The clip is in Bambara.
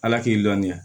Ala k'i dɔnniya